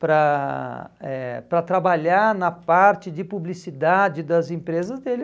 para eh para trabalhar na parte de publicidade das empresas dele.